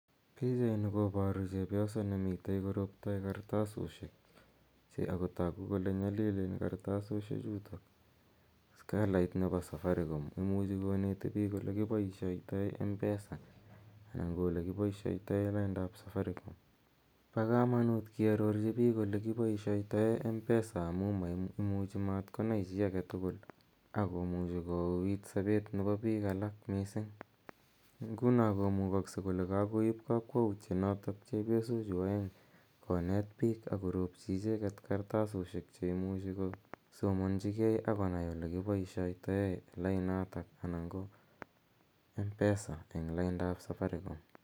Pichaini koparu chepyoset ne mitei koroptai kartasoshek ako tagu kole nyalilen kartasoshechutok, kalait nepo Safaricom. Imuchi koneti piik ole kipaishaitai mpesa anan ko ole kipaishaitao lainda ap safaricom. Pa kamanuut kiarorchi piik ole ki paishaitai mpesa amu imuchi mat konai chi age tugul ako muchi kouuit sapet nepo piil alak missing'. Nguno komukakse kole kakoip kakwautienotok chepyosochu aeng' konet piik ako ropchi icheget kartasoshek che imuchi kosomanchigei ako nai ole kipaishaitai lainotok anan ko Mpesa eng laindap Safaricom.